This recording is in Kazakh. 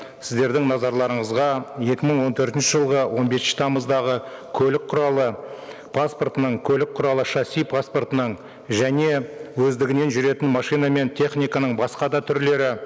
сіздердің назарларыңызға екі мың он төртінші жылғы он бесінші тамыздағы көлік құралы паспортының көлік құралы шасси паспортының және өздігінен жүретін машина мен техниканың басқа да түрлері